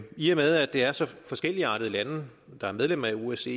i og med at det er så forskelligartede lande der er medlem af osce